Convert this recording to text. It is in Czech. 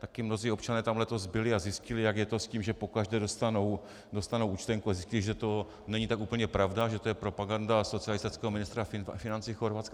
Také mnozí občané tam letos byli a zjistili, jak je to s tím, že pokaždé dostanou účtenku, a zjistili, že to není tak úplně pravda, že to je propaganda socialistického ministra financí Chorvatska.